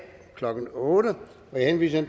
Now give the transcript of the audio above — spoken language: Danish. klokken otte jeg henviser